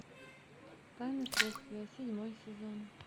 тайны следствия седьмой сезон